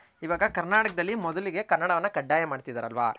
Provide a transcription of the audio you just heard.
ಇವಾಗ ಕರ್ನಾಟಕದಲ್ಲಿ ಮೊದಲಿಗೆ ಕನ್ನಡನ ಕಡ್ಡಾಯ ಮಾಡ್ತಿದರ್ಲ್ವ